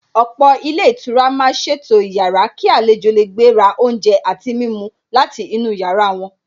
Ọ̀pọ̀ ilé ìtura màá ṣètò ìyára kí àlejò lè gbé ra oúnjẹ àti mímu láti inú yàrá wọn.